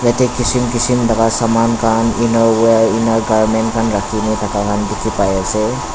yatae kishim kishim laka saman khan inner wear ena garment khan rakhina thaka la dikhipaase.